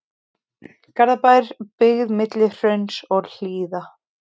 Garðabær, byggð milli hrauns og hlíða.